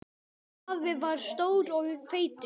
Afi var stór og feitur.